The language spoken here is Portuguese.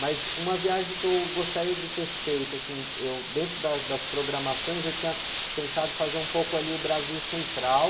Mas uma viagem que eu gostaria de ter feito, assim, eu, dentro da, das programações, eu tinha pensado fazer um pouco ali o Brasil Central.